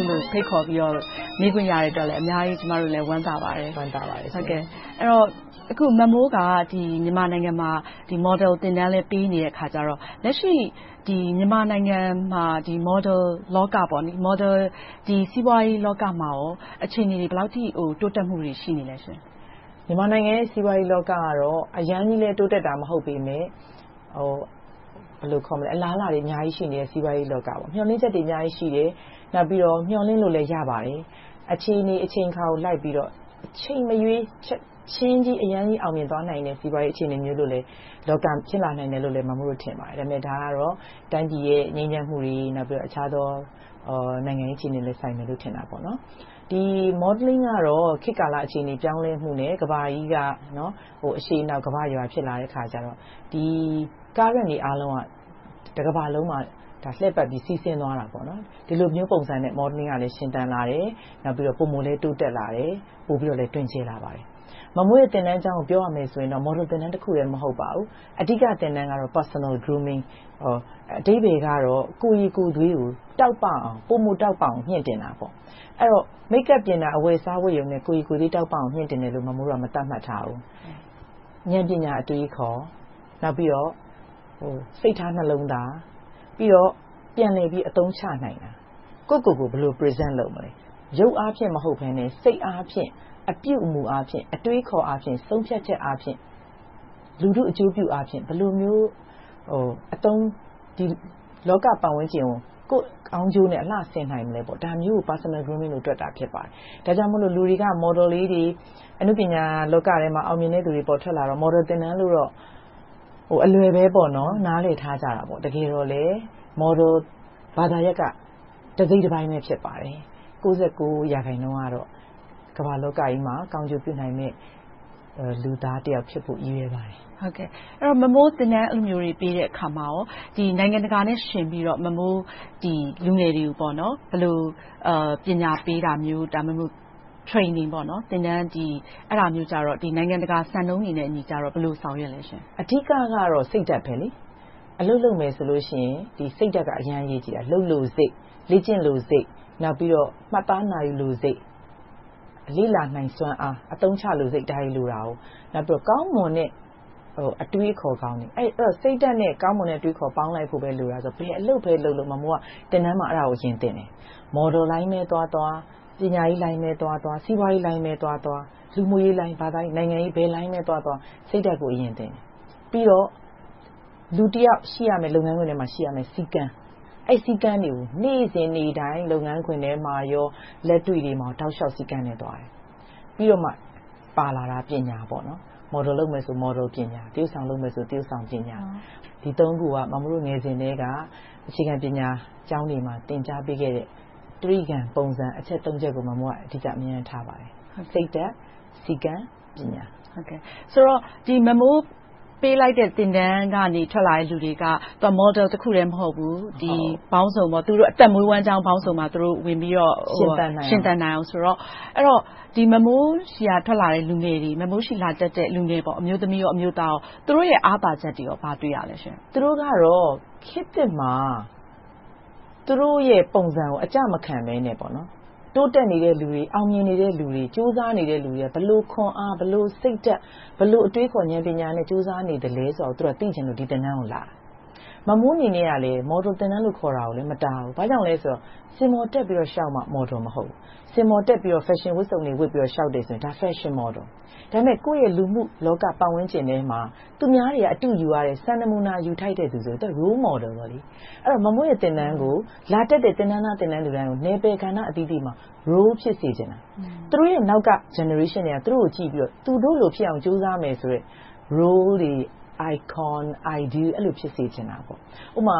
ုလို ဖိတ်ခေါ်ပြီးတော့ မေးခွင့်ရတဲ့အတွက် ကျမတို့ အများကြီး ဝမ်းသာပါတယ်။ အဲဒီတော့ မမိုးက မြန်မာနိုင်ငံမှာ မော်ဒယ်သင်တန်း ပေးနေတဲ့အခါကြတော့ လက်ရှိ မြန်မာနိုင်ငံမှာ မော်ဒယ် စီးပွားရေးလောကမှာ အခြေအနေတွေ ဘယ်လောက်အထိ တိုးတက်မှုတွေ ရှိနေလဲရှင့်။ မြန်မာနိုင်ငံရဲ့ စီးပွားရေးလောကကတော့ အရမ်းကြီးလည်း တိုးတက်တာ မဟုတ်ပေမယ့် အလားအလာတွေ အများကြီးရှိနေတဲ့ စီးပွားရေးလောက။ မျှော်လင့်ချက်တွေ အများကြီးရှိတယ်။ နောက်ပြီးတော့ မျှော်လင့်လို့လည်း ရပါတယ်။ အခြေအနေ၊ အချိန်အခါကို လိုက်ပြီးတော့ အချိန်မရွေး၊ ချက်ချင်းကြီး အရမ်းအောင်မြင်သွားနိုင်တဲ့ အခြေအနေမျိုးလိုလည်း ဖြစ်နိုင်တယ်လို့ မမိုးတို့ ထင်ပါတယ်။ ဒါပေမဲ့ ဒါကတော့ တိုင်းပြည်ရဲ့ ငြိမ်းချမ်းမှုတွေ။ နောက်ပြီးတော့ အခြားသော နိုင်ငံရေးအခြေအနေတွေနဲ့လည်း ဆိုင်မယ်လို့ ထင်ပါတယ်။ Modeling ကတော့ ခေတ်ကာလ အခြေအနေ ပြောင်းလဲမှုနဲ့ ကမ္ဘာကြီးက အရှေ့အနောက် ကမ္ဘာ့ရွာ ဖြစ်လာတဲ့အခါကြတော့ လက်ရှိအခြေအနေတွေအားလုံးက တကမ္ဘာလုံးမှာ လည့်ပတ်ပြီး စီးဆင်းသွားတယ်။ ဒီလိုမျိုးပုံစံနဲ့ Modeling ကလည်း ရှင်သန်လာတယ်။ ပိုမိုလည်း တိုးတက်လာတယ်။ ပိုပြီးတော့လည်း တွင်ကျယ်လာပါတယ်။ မမိုးတို့ သင်တန်းကျောင်းကို ပြောရမယ်ဆိုရင်တော့ မော်ဒယ်သင်တန်းတခုတည်း မဟုတ်ပါဘူး။ အဓိက သင်တန်းကတော့ Personal Grooming အဓိပ္ပါယ်ကတော့ ကိုယ်ရည်ကိုယ်သွေးကို တောက်ပအောင်၊ ပိုမိုတောက်ပအောင် မြှင့်တင်တာပေါ့။ အဲဒီတော့ Make-up ပြင်ရုံ၊ အဝတ်အစားဝတ်တာနဲ့ ကိုယ်ရည်ကိုယ်သွေး မြှင့်တင်တယ်လို့ မမိုးတို့က မသတ်မှတ်ထားဘူး။ ဉာဏ်ပညာ အတွေးအခေါ်။ နောက်ပြီးတော့ စိတ်ထားနှလုံးသား။ ပြီးတော့ ပြန်လည်ပြီး အသုံးချနိုင်တာ။ ကိုယ့်ကိုယ်ကိုယ် ဘယ်လို Present လုပ်မလဲ။ ရုပ်အားဖြင့် မဟုတ်ဘဲနဲ့ စိတ်အားဖြင့် အပြုအမှုအားဖြင့်၊ အတွေးအခေါ်အားဖြင့်၊ ဆုံးဖြတ်ချက်အားဖြင့်၊ လူထုအကျိုးပြုအားဖြင့် ဘယ်လိုမျိုး လောကပတ်ဝန်းကျင်ကို ကိုယ့်ကောင်းကျိုးနဲ့ အလှဆင်မလဲနိုင်မလဲ။ ဒါမျိုးကို Personal Grooming လို့ တွတ်တာ ဖြစ်ပါတယ်။ ဒါကြောင့်မို့ လူတွေက မော်ဒယ်လေးတွေ၊ အနုပညာလောကထဲမှာ အောင်မြင်တဲ့သူတွေ ပေါ်ထွက်လာတော့ မော်ဒယ်သင်တန်းလို့ အလွယ်ပဲ နားလည်ထားကြတယ်။ တကယ်တော့လဲ မော်ဒယ်ဘာသာရပ်က တစိတ်တပိုင်းပဲ ဖြစ်ပါတယ်။ ၉၉ ရာခိုင်နှုန်းကတော့ ကမ္ဘာလောကကြီးမှာ ကောင်းကျိုးပြုနိုင်မယ့် လူသားတယောက်ဖြစ်ဖို့ ရည်ရွယ်ပါတယ်။ မမိုး အဲဒီလို သင်တန်းပေးတဲ့အခါမှာ နိုင်ငံတကာနဲ့ ယှဉ်ပြီးတော့ လူငယ်တွေကို ဘယ်လို ပညာပေးတာမျိုး ဒါမှမဟုတ် Training အဲဒါမျိုးကြတော့ နိုင်ငံတကာ စံနှုန်းတွေနဲ့အညီ ဘယ်လို ဆောင်ရွက်ပါလဲ။ အဓိကတော့ စိတ်ဓါတ် - အလုပ်လုပ်မယ်ဆိုရင် စိတ်ဓါတ်က အရမ်းအရေးကြီးတာ။ လုပ်လိုစိတ်၊ လေ့ကျင့်လိုစိတ်၊ နောက်ပြီးတော့ မှတ်သားနာယူလိုစိတ်၊ လေ့လာနိုင်စွမ်းအား၊ အသုံးချလိုစိတ်။ ဒါတွေလိုတယ်။ နောက်ပြီးတော့ ကောင်းမွန်တဲ့ အတွေးအခေါ်ကောင်းတွေ။ အဲဒီတော့ စိတ်ဓါတ်နဲ့ အတွေးအခေါ်ကောင်းတွေ ပေါင်းဖို့ပဲလိုတာဆိုတော့ ဘယ်အလုပ်ပဲလုပ်လုပ် မမိုးက သင်တန်းမှာ အဲဒါကို အရင်သင်တယ်။ မော်ဒယ်လိုင်းပဲသွားသွား၊ ပညာရေးလိုင်းပဲသွားသွား၊ စီးပွားရေးလိုင်းပဲသွားသွား၊ လူမှုရေး၊ ဘာသာရေး၊ နိုင်ငံရေး ဘယ်လိုင်းပဲသွားသွား စိတ်ဓါတ်ကို အရင်သင်တယ်။ ပြီးတော့ လူတယောက် လုပ်ငန်းခွင်ထဲမှာ ရှိရမယ့် စည်းကမ်း။ အဲဒီ စည်းကမ်းတွေကို နေ့စဉ်နေ့တိုင်း လုပ်ငန်းခွင်ထဲမှာ၊ လက်တွေ့ထဲမှာ တောက်လျှောက်စည်းကမ်းနဲ့ သွားတယ်။ ပြီးတော့မှ ပါလာတာက ပညာပေါ့။ မော်ဒယ်လုပ်မယ်ဆို မော်ဒယ်ပညာ။ သရုပ်ဆောင်လုပ်မယ်ဆို သရုပ်ဆောင်ပညာ။ ဒီ ခုက မမိုးတို့ ငယ်စဉ်ကတည်းက အခြေခံပညာကျောင်းတွေမှာ သင်ကြားပေးခဲ့တဲ့ တြိဂံပုံစံ အချက် ချက်ပေါ်မှာ အဓိက အမြဲတမ်းထားပါတယ် - စိတ်ဓါတ်၊ စည်းကမ်း၊ ပညာ။ ဆိုတော့ မမိုး ပေးလိုက်တဲ့ သင်တန်းကနေ ထွက်လာတဲ့ လူတွေက မော်ဒယ်တခုတည်း မဟုတ်ဘူး။ အသက်မွေးဝမ်းကျောင်းပေါင်းစုံပါ ဝင်ပြီးတော့ ရှင်သန်နိုင်အောင်ဆိုတော့ အဲဒီတော့ မမိုးဆီက ထွက်လာတဲ့ လူငယ်တွေ။ မမိုးဆီ လာတက်တဲ့ လူငယ်တွေ - အမျိုးသား၊ အမျိုးသမီးတွေ - သူတို့ရဲ့ အားသာချက်တွေ ဘာတွေတွေ့ရပါလဲရှင့်။ သူတို့ကတော့ ခေတ်သစ်မှာ သူတို့ရဲ့ ပုံစံကို အကျမခံဘဲနဲ့ တိုးတက်နေတဲ့လူတွေ၊ အောင်မြင်နေတဲ့လူတွေ၊ ကြိုးစားနေတဲ့လူတွေ၊ ဘယ်လိုခွန်အား၊ ဘယ်လို စိတ်ဓါတ်၊ အတွေးအခေါ်၊ ဉာဏ်ပညာနဲ့ ကြိုးစားနေသလဲဆိုတာကို သိချင်လို့ ဒီသင်တန်းကို လာတာ။ မမိုးအနေနဲ့လည်း မော်ဒယ်သင်တန်းလို့ ခေါ်တာကိုလည်း မတားဘူး။ ဘာကြောင့်လဲဆိုတော့ စင်ပေါ်တက်ပြီးတော့ လျှောက်မှ မော်ဒယ် မဟုတ်ဘူး။ စင်ပေါ်တက်ပြီးတော့ ဖက်ရှင်ဝတ်စုံတွေ ဝတ်ပြီးတော့ လျှောက်ရင် ဒါက ဖက်ရှင်မော်ဒယ် ။ ဒါပေမဲ့ ကိုယ့်ရဲ့ လူမှုလောကပတ်ဝန်းကျင်ထဲမှာ သူများတွေက အတုယူရတယ်။ စံနမူနာ ယူထိုက်တဲ့လူဆိုရင် သူက Role Model - အဲဒီတော့ မမိုးရဲ့ သင်တန်းကို လာတက်တဲ့ သင်တန်းသား၊ သင်တန်းသူများကို နယ်ပယ်ကဏ္ဍအသီးသီးမှာ Role ဖြစ်စေချင်တာ။ သူတို့နောက်က Generations တွေက သူတို့ကိုကြည့်ပြီးတော့ သူတို့လိုဖြစ်အောင် ကြိုးစားမယ်ဆိုတဲ့ Role တွေ၊ Icon တွေ၊ Ideal တွေ အဲဒီလို ဖြစ်စေချင်တာ။ ဥပမာ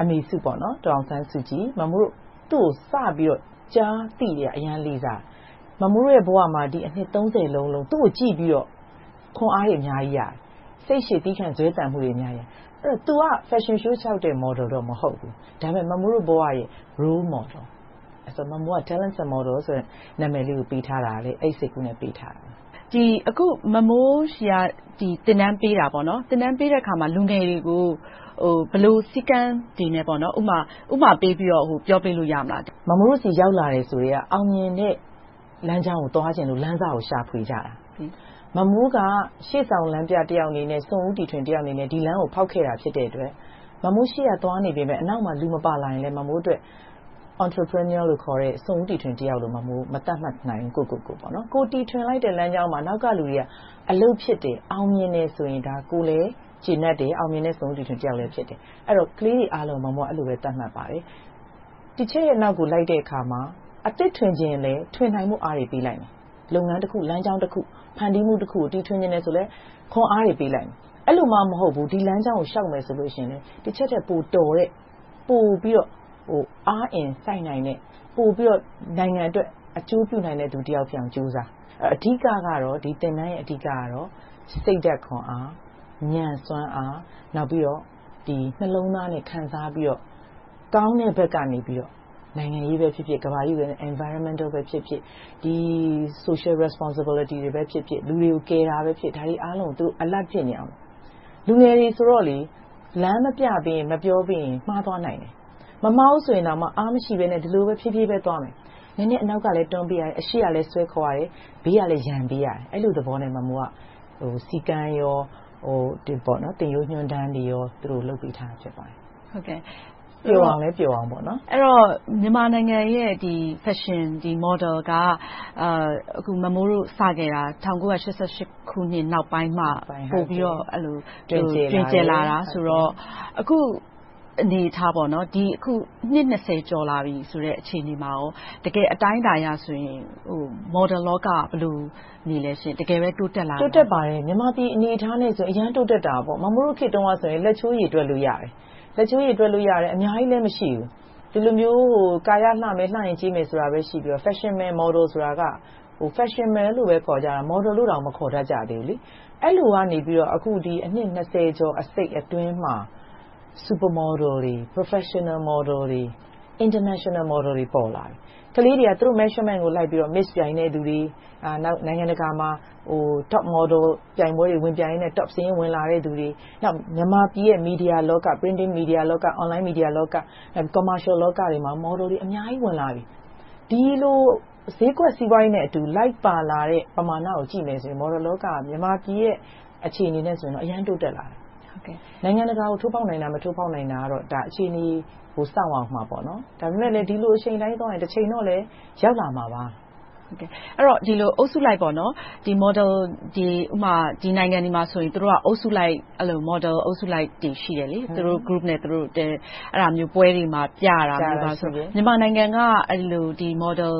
အမေစုပေါ့။ ဒေါ်အောင်ဆန်းစုကြည်။ သူကို စပြီးတော့ ကြားသိကတည်းက အရမ်းလေးစားတယ်။ မမိုးတို့ဘဝမှာ အနှစ် လုံး သူကိုကြည့်ပြီးတော့ ခွန်အားတွေ အများကြီးရတယ်။ စိတ်ရှည်သည်းခံ ဇွဲသန်မှုတွေ အများကြီးရတယ်။ အဲဒီတော့ သူက Fashion Show လျှောက်တဲ့ မော်ဒယ်တော့ မဟုတ်ဘူး။ ဒါပေမဲ့ မမိုးတို့ဘဝရဲ့ Role Model. မမိုးက Talents and Models ပေးထားတာကလည်း အဲဒီစိတ်ကူးနဲ့ ပေးထားတာပါ။ အခု မမိုး သင်တန်းပေးတဲ့အခါမှာ လူငယ်တွေကို ဘယ်လို စည်းကမ်းတွေနဲ့ ဥပမာပေးပြီးတော့ ပြောပေးလို့ ရမလား။ မမိုးတို့ဆီ ရောက်လာတယ်ဆိုကတည်းက အောင်မြင်တဲ့ လမ်းကြောင်းကို သွားချင်လို့၊ အောင်မြင်တဲ့ လမ်းစကို ရှာဖွေကြတာ။ မမိုးက ရှေ့ဆောင်လမ်းပြတယောက်အနေနဲ့၊ စွန့်ဦးတည်ထွင်သူတယောက်အနေနဲ့ ဒီလမ်းကို ဖောက်ခဲ့တဲ့ ဖြစ်တဲ့အတွက် မမိုး ရှေ့ကသွားနေပေမယ့်၊ နောက်မှာ လူမပါလာရင်လည်း မမိုးအတွက် Entrepreneur လို့ခေါ်တဲ့ စွန့်ဦးတည်ထွန်သူအဖြစ် ကိုယ့်ကိုယ်ကိုယ် မသတ်မှတ်နိုင်ဘူး။ ကိုယ်တီထွင်လိုက်တဲ့ လမ်းကြောင်းမှာ နောက်ကလူတွေ အလုပ်ဖြစ်တယ်။ အောင်မြင်တယ်ဆိုရင် ကိုယ်လည်း ကျေနပ်တယ်။ အောင်မြင်တဲ့ စွန့်ဦးတီထွင်သူတယောက်လည်း ဖြစ်တယ်။ ကလေးတွေအားလုံးကို အဲဒီလိုပဲ သတ်မှတ်ပါတယ်။ Teacher ရဲ့ နောက်ကို လိုက်တဲ့အခါ အသစ်ထွင်ချင်ရင်လဲ ထွင်နိုင်ဖို့ အားတွေပေးလိုက်မယ်။ လုပ်ငန်းတခု၊ လမ်းကြောင်းတခု၊ ဖန်တီးမှုတခုကို တီထွင်ချင်တယ်ဆိုရင် ခွန်အားတွေ ပေးလိုက်မယ်။ အဲဒီလိုမှ မဟုတ်ဘူး။ ဒီလမ်းကြောင်းပေါ် လျှောက်မယ်ဆိုရင်လဲ Teacher ထက် ပိုတော်တဲ့၊ ပိုပြီးတော့ အားအင်စိုက်နိုင်တဲ့၊ ပိုပြီးတော့ နိုင်ငံအတွက် အကျိုးပြုသူတယောက်ဖြစ်အောင် ကြိုးစား။ အဓိကတော့ သင်တန်းရဲ့ အဓိကတော့ စိတ်ဓါတ်ခွန်အား၊ ဉာဏ်စွမ်းအား၊ နောက်ပြီးတော့ နှလုံးသားနဲ့ ခံစားပြီးတော့ ကောင်းတဲ့ဘက်ကနေပြီးတော့ နိုင်ငံရေးပဲဖြစ်ဖြစ်၊ ကမ္ဘာ့ပတ်ဝန်းကျင် - Environmental ဖြစ်ဖြစ်၊ Social Responsibilty တွေပဲဖြစ်ဖြစ်၊ လူတွေကို ကယ်တာပဲဖြစ်ဖြစ် အားလုံးကို သူတို့ Alert ဖြစ်နေရမယ်။ လူငယ်တွေဆိုတော့ လမ်းမပြပေးရင် မပြောပေးရင် မှားသွားနိုင်တယ်။ မမှားဘူဆိုရင်တောင်မှ အားမရှိဘဲနဲ့ ဒီလိုပဲ ဖြေးဖြေးသွားမယ်။ နည်းနည်းနောက်ကလည်း တွန်းပေးရတယ်။ အရှေ့ကလည်း ဆွဲခေါ်ပေးရတယ်။ ဘေးကလည်း ရံပေးရတယ်။ အဲဒီလိုသဘောနဲ့ မမိုးက စည်းကမ်း၊ သင်ရိုးညွှန်တမ်းတွေ လုပ်ပေးထားတာ ဖြစ်ပါတယ်။ အဲဒီတော့ မြန်မာနိုင်ငံရဲ့ ဖက်ရှင်မော်ဒယ် က အခု မမိုး ၁၉၈၈ နောက်ပိုင်းမှ ပိုပြီးတော့ တွင်ကျယ်လာတာ။ ဆိုတော့ အခု အနေအထား - နှစ် ကျော်လာပြီဆိုတဲ့ အချိန်ကာလ၊ အခြေအနေမှန်မှာ တကယ်အတိုင်းအတာအရဆိုရင် မော်ဒယ်လောက ဘယ်လိုနေလဲ။ တကယ်ပဲ တိုးတက်လာပါလား။ တိုးတက်ပါတယ်။ မြန်မာပြည် အနေအထားနဲ့ဆိုရင် အရမ်းတိုးတက်တာပေါ့။ မမိုးတို့ ခေတ်တုန်းကဆိုရင် လက်ချိုးရေတွက်လို့ ရတယ်။ လက်ချိုးရေတွက်လို့ရတယ်။ အများကြီးလည်း မရှိဘူး။ ဒီလိုမျိုး ကာယအလှမယ်။ လှယဉ်ကျေးမယ်ဆိုတာပဲ ရှိပြီးတော့ ဖက်ရှင်မယ်၊ မော်ဒယ်မယ်ဆိုတာက ဖက်ရှင်မယ်လို့ပဲ ခေါ်ကြတာ။ မော်ဒယ်လိုတောင် မခေါ်တတ်ကြဘူး။ အဲဒီလိုကနေ အခု အနှစ် ကျော် အစိတ် အတော်အတွင်းမှာ Super Model, Professional Model, International Model တွေ ပေါ်လာတယ်။ ကလေးတွေက သူတို့ Measurement ကို လိုက်ပြီးတော့ Miss ပြိုင်နိုင်တဲ့လူတွေ။ နောက်ပြီးတော့ နိုင်ငံတကာမှာ Top Model တွေ ဝင်ပြိုင်ရင်နဲ့ Top စာရင်းဝင်လာတယ့်လူတွေ။ နောက် မြန်မာနိုင်ငံရဲ့ မီဒီယာလောက၊ Printing မီဒီယာလောက၊ Online မီဒီယာလောက၊ Commercial တွေမှာ မော်ဒယ်တွေ အများကြီးဝင်လာပြီ။ ဒီလို ဈေးကွက်စီးပွားရေးနဲ့အတူ လိုက်ပါလာတဲ့ ပမာဏကို ကြည့်မယ်ဆိုရင် မော်ဒယ်လောက်က မြန်မာပြည်ရဲ့ အခြေအနေနဲ့ဆိုရင် အရမ်းတိုးတက်လာတာ။ နိုင်ငံတကာကို ထိုးဖောက်နိုင်တာ၊ မထိုးဖောက်နိုင်တာကတော့ အခြေအနေကို စောင့်ရအုံးမှာပေါ့။ ဒါပေမဲ့ ဒီလိုအရှိန်အတိုင်းသွားရင် တချိန်တော့လည်း ရောက်လာမှာပါ။ ဒီလို အုပ်စုလိုက် ဒီနိုင်ငံတွေမှာဆို သူတို့က အုပ်စုလိုက်၊ မော်ဒယ်အုပ်စုလိုက်တွေ ရှိတယ်။ သူတို့အုပ်စုနဲ့သူတို့ အဲဒီလိုမျိုး ပွဲတွေမှာ ပြရတာမျိုးဆိုရင် မြန်မာနိုင်ငံက အဲဒီလို မော်ဒယ်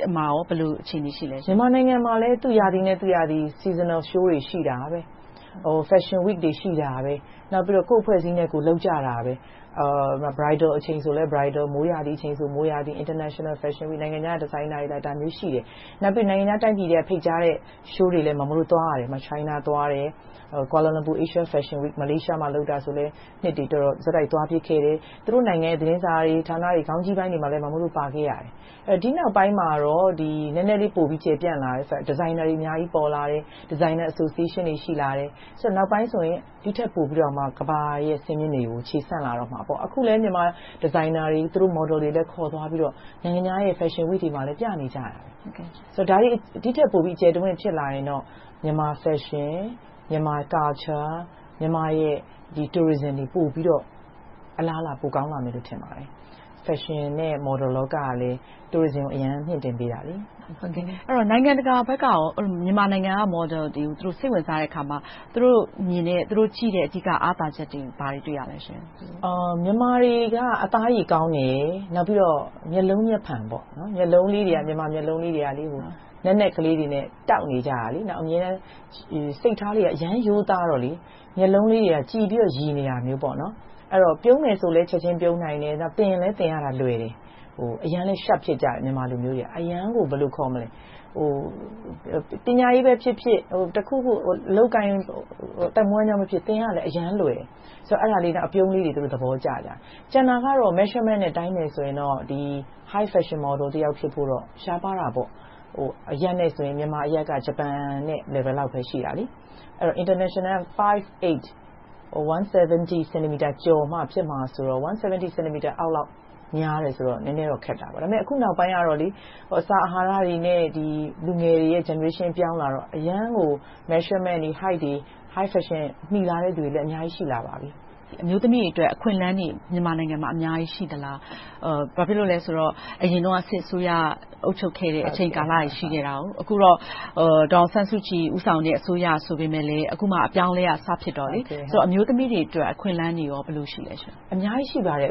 ထဲမှာ ဘယ်လို အခြေအနေ ရှိပါလဲ။ မြန်မာနိုင်ငံမှာလည်း သူ့ရာသီနဲ့ သူ့ရာသီ။ Seasonal Shows တွေ ရှိတယ်။ Fashion Week တွေ ရှိတယ်။ နောက်ပြီးတော့ ကိုယ့်အဖွဲ့အစည်းနဲ့ ကိုယ် လုပ်ကြတာပဲ။ Bridal ဆိုလည်း Bridal. မိုးရာသီဆိုလဲ မိုးရာသီ - International Fashion week - နိုင်ငံခြားက Designers တွေလာ။ ဒါမျိုးတွေရှိတယ်။ နောက်ပြီးတော့ နိုင်ငံခြားတိုင်းပြည်တွေက ဖိတ်ကြားထားတာတွေလည်း သွားရတယ်။ China သွားတယ်။ ကွာလမ်လန်ပူ အာရှဖက်ရှင်၊ မလေးရှားမှာ လုပ်တာကို ဆက်တိုက်သွားဖြစ်ခဲ့တယ်။ သူတို့နိုင်ငံရဲ့ သတင်းစာတွေ၊ ဂျာနယ်ခေါင်းကြီးပိုင်းတွေမှာ မမိုးတို့ ပါခဲ့ရတယ်။ ဒီနောက်ပိုင်းမှာတော့ နည်းနည်းလေး ပိုပြီးကျယ်ပြန့်လာတယ်။ ဒီဇိုင်းနာတွေ အများကြီး ပေါ်လာတယ်။ Designer Association တွေ ရှိလာတယ်။ နောက်ပိုင်းဆိုရင် ဒီထက်ပိုပြီးတော့ ကမ္ဘာရဲ့ စင်မြင်တွေပေါ် ခြေဆန့်လာတော့မှာပေါ့။ အခုလဲ မြန်မာဒီဇိုင်းနာတွေ၊ သူတို့ မော်ဒယ်တွေလည်း ခေါ်သွားပြီးတော့ နိုင်ငံခြားရဲ့ Fashion Week မှာ ပြနေကြတာ။ ဒီထက်ပိုပြီး အကျယ်တဝံ့ ဖြစ်လာရင်တော့ Myanmar Fashion, Myanmar Culture, မြန်မာရဲ့ Tourism တွေ ပြီးတော့ အလားအလာ ပိုကောင်းလာမယ်လို့ ထင်ပါတယ်။ ဖက်ရှင် နဲ့ မော်ဒယ်လောကကလည်း Tourism ကြီး။ အဲဒီတော့ နိုင်ငံတကာဘက်က မြန်မာနိုင်ငံက မော်ဒယ်တွေကို သူတို့ စိတ်ဝင်စားတဲ့အခါမှာ သူတို့ အမြင်နဲ့ သူတို့ကြည့်တဲ့အကြည့်က အားသာချက်တွေ ဘာတွေကို တွေ့ရပါလဲ။ မြန်မာတွေက အသားအရေကောင်းတယ်။ နောက်ပြီးတော့ မျက်လုံးမျက်ဖန် - မြန်မာမျက်လုံးလေးတွေက နက်နက်ကလေးတွေနဲ့ တောက်နေတယ်။ စိတ်ထားတွေက အရမ်းရိုးသားတော့ မျက်လုံးလေးတွေက ကြည်ပြီးတော့ ရယ်နေတာမျိုး။ အဲဒီတော့ ပြုံးမယ်ဆိုလဲ ချက်ချင်းပြုံးနိုင်တယ်။ သင်ရင်လည်း သင်ရတာလွယ်တယ်။ အရမ်းလည်း Sharp ဖြစ်ကြတယ်။ ပညာရေးဖြစ်ဖြစ်၊ တခုခု အလုပ်အကိုင် အသက်မွေးကျောင်း အားလုံး သင်ရတာလွယ်တယ်။ နောက် အပြုံးလေးတွေ သူတို့ သဘောကျကြတယ်။ ကျန်တာကတော့ Measurement နဲ့ တိုင်မယ်ဆိုရင်တော့ High Fashion Model တယောက်ဖြစ်ဖို့တော့ ရှားပါးတာပေါ့။ အရပ်နဲ့ဆိုရင် မြန်မာအရပ်က ဂျပန်နဲ့ Level လောက်ပဲရှိတာ။ International က ၅.၈ ကျော်မှဖြစ်မှာဆိုတော့ ၁၇၀ စင်တီမီတာအောက်လောက် များတယ်ဆိုတော့ နည်းနည်းတော့ ခက်တယ်။ ဒါပေမဲ့ အခုနောက်ပိုင်းမှာတော့ အစာအဟာရတွေနဲ့ လူငယ်တွေရဲ့ Generation အပြောင်းအလဲမှာတော့ အရမ်းကို Measurement တွေ၊ Hight တွေ High Fashion တွေ အများကြီး ရှိလာပါပြီ။ အမျိုးသမီးတွေအတွက် အခွင့်အလမ်းတွေ မြန်မာနိုင်ငံမှာ အများကြီးရှိသလား။ ဘာဖြစ်လို့လဲဆိုတော့ အရင်တုန်းက စစ်အစိုးရက အုပ်ချုပ်ခဲ့တဲ့ အချိန်ကာလတွေ ရှိခဲ့တယ်။ အခုတော့ ဒေါ်အောင်ဆန်းစုကြည် ဦးဆောင်တဲ့ အစိုးရဆိုပေမယ့်လဲ အခုမှ အပြောင်းအလဲက စဖြစ်တော့ အမျိုးသမီးတွေအတွက် အခွင့်အလမ်းတွေကော.. အခွင့်အလမ်းတွေ အများကြီး ရှိပါတယ်။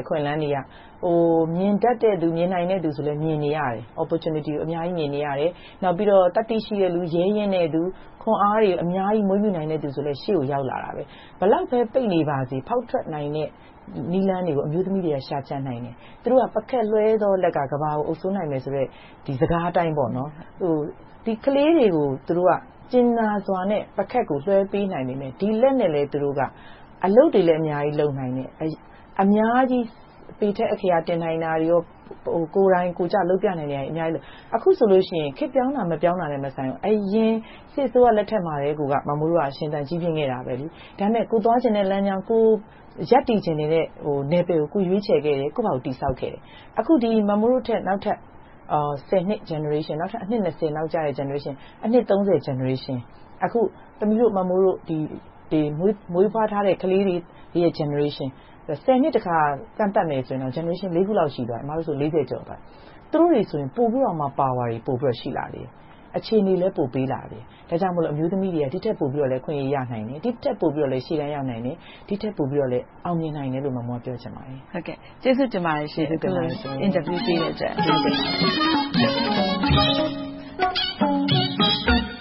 မြင်တတ်တဲ့လူ၊ မြင်နိုင်တဲ့လူတွေဆိုလဲ မြင်နေရတယ်။ Opportunity ကို အများကြီး မြင်နေရတယ်။ နောက်ပြီးတော့ သတ္တိရှိတဲ့လူ။ ရဲရင့်တဲလူ၊ ခွန်အားတွေ အများကြီး မွေးမြူးနိုင်သူဆိုလည်း ရှေ့ကို ရောက်လာတာပဲ။ ဘယ်လောက်ပဲ ပိတ်နေပါစေ ဖောက်ထွက်နိုင်တဲ့ နည်းလမ်းတွေကို အမျိုးသမီးတွေက ရှာကြံနိုင်တယ်။ ပုခတ်လွှဲသောလက်က ကမ္ဘာကို အုပ်စိုးနိုင်မယ်ဆိုတဲ့ စကားအတိုင်း… ကလေးတွေကို သူတို့က ကြင်နာစွာဖြင့် ပုခတ်ကို လွှဲပေးနိုင်ပေမယ့် ဒီလက်နဲ့ပဲ သူတို့က အလုပ်တွေလည်း အများကြီး လုပ်နိုင်တယ်။ အများကြီး ပေထက်အက္ခရာ တင်နိုင်တာ၊ ကိုယ်တိုင်ကိုယ်ကျ လုပ်ပြနိုင်တာတွေ အများကြီး။ အခုဆိုလို့ရှိရင် ခေတ်ပြောင်းတာ၊ ခေတ်မပြောင်းနိုင်လို့ ။ အရင်စစ်အစိုးရလက်ထက်မှာပဲ မမိုးတို့က ရှင်သန်ကြီးပြင်းခဲ့တာ။ ဒါပေမဲ့ ကိုယ်သွားချင်တဲ့လမ်းကြောင်း၊ ကိုယ်ရပ်တည်ချင်တဲ့ နယ်ပယ်ကို ကိုယ်ရွေးချယ်ခဲ့တယ်။ ကိုယ်ဘာသာကိုယ် တည်ဆောက်ခဲ့တယ်။ အခု မမိုးတို့ထက် နောက်ထပ် နှစ် Generation က အနှစ် နောက်ကျတဲ့ Generation၊ အနှစ် Generation/ အခု မမိုးတို့ မွေးထားတဲ့ ကလေးတွေရဲ့ Generation တစ်ခါ ကန့်သတ်မယ်ဆိုရင်တော့ Generation ခုလောက် ရှိသွားပြီ။ အမတို့ဆိုရင် လေးဆယ်ကျော်သွားပြီ။ သူတို့ဆိုရင် ပိုပြီးတော့ Power တွေ ပိုပြီးတော့ ရှိလာလေ။ အခြေအနေလည်း ပိုပေးလာတယ်။ ဒါကြောင့်မို့ အမျိုးသမီးတွေက ဒီထက်ပိုပြီးတော့လဲ အခွင့်အရေး ရနိုင်တယ်။ ဒီထက်ပိုပြီးတော့ ရှေ့တန်းရောက်နိုင်တယ်။ ဒီထက်ပိုပြီး အောင်မြင်နိုင်တယ်လို့ မမိုးက ပြောချင်ပါတယ်။ ကျေးဇူးတင်ပါတယ်ရှင့်။ အခုလို အင်တာဗျူးပေးတဲ့အတွက်။ ကျေးဇူးတင်ပါတယ်။